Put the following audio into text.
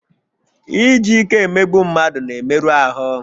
Iji ike emegbu mmadụ na-emerụ ahụ